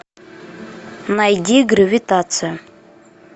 найди гравитация